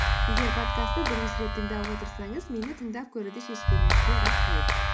егер подкастты бірінші рет тыңдап отырсаңыз мені тыңдап көруді шешкеніңізге рахмет